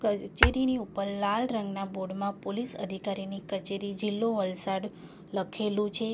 કરચેરીની ઉપર લાલ રંગના બોર્ડમાં પોલીસ અધિકારીની કચેરી જીલ્લો વલસાડ લખેલું છે.